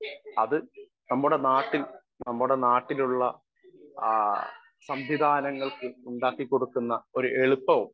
speaker 1 അത് നമ്മുടെ നാട്ടിൽ നമ്മുടെ നാട്ടിലുള്ള ആ സംവിധാനങ്ങൾക്ക് ഉണ്ടാക്കികൊടുക്കുന്ന ഒരു എളുപ്പവും